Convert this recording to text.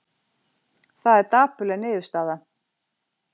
Það er dapurleg niðurstaða